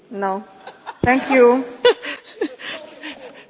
Ich habe beschlossen, dass ich die Frage verstanden habe.